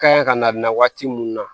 Ka ɲi ka na nin waati mun na